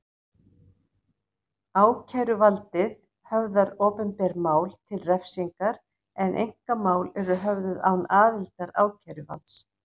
Ákæruvaldið höfðar opinber mál til refsingar en einkamál eru höfðuð án aðildar ákæruvalds.